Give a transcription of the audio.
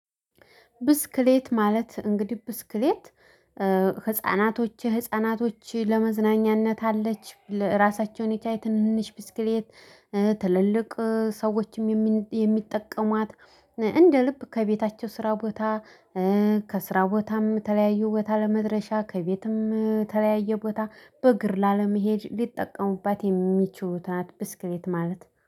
ብስክሌት ማለት እንግዲህ ብስክሌት ህፃናቶችህ ህፃናቶች ለመዝናኛነት አለች ለራሳቸውን የቻይ ትንንሽ ብስክሌት ትልልቅ ሰዎችም የሚጠቀሟት እንደ ልብ ከቤታቸው ስራ ቦታ ከስራ ቦታም ተለያዩ ቦታ ለመድረሻ ከቤትም ተለያየ ቦታ በእግር ላለመሄድ ሊጠቀሙባት የሚችሉት ናት ብስክሌት ማለት